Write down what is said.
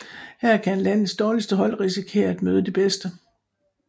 Her kan landets dårligste hold risikere at møde de bedste